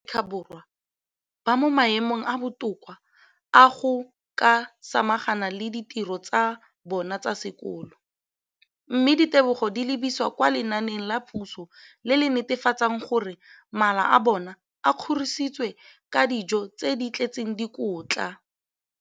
Dikolo tsa puso mo Aforika Borwa ba mo maemong a a botoka a go ka samagana le ditiro tsa bona tsa sekolo, mme ditebogo di lebisiwa kwa lenaaneng la puso le le netefatsang gore mala a bona a kgorisitswe ka dijo tse di tletseng dikotla.